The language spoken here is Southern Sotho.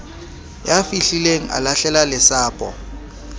ya fihlileng a lahlela lesapo